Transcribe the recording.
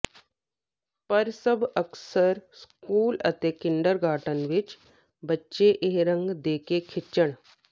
ਪਰ ਸਭ ਅਕਸਰ ਸਕੂਲ ਅਤੇ ਕਿੰਡਰਗਾਰਟਨ ਵਿੱਚ ਬੱਚੇ ਇਹ ਰੰਗ ਦੇ ਕੇ ਖਿੱਚਣ